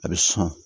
A bɛ sɔn